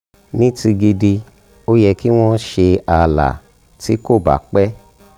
ní ti gidi ó yẹ kí wọ́n ṣe ààlà tí kò bá pẹ́